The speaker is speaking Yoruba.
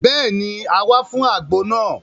Béèni, a wá fún àgbo náà